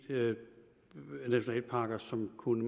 nationalparker som man kunne